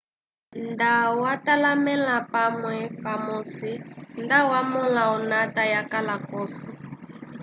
nda watalamele pamwe pamosi nda wa mola onata ya kala kosi